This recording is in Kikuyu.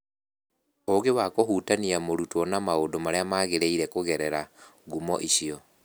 Ũgĩ wa kũhutania mũrutwo na maũndũ marĩa magĩrĩire kũgerera ngumo icio